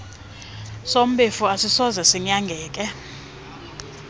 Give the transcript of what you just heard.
sombefu asisokuze sinyangeke